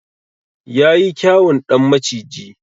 Yayi kyawun ɗan maciji.